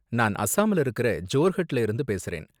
நான் அசாம்ல இருக்குற ஜோர்ஹட்ல இருந்து பேசுறேன்.